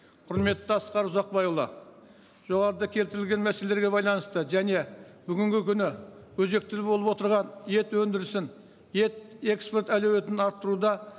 құрметті асқар ұзақбайұлы жоғарыда келтірілген мәселелерге байланысты және бүгінгі күні өзекті болып отырған ет өндірісін ет экспорт әлеуетін арттыруда